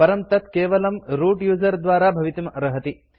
परं तत् केवलं रूत् यूजर द्वारा भवितुम् अर्हति